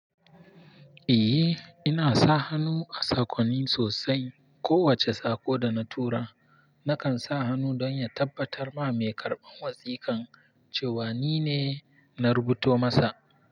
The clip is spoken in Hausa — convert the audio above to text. Eh, ina sa hannu a sakonni sosai. Kowace sako da na tura nakan sa hannu don ya tabbatar ma mai karɓan wasikan cewa nine na rubuto masa.